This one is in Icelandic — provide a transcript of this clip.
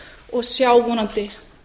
og sjá vonandi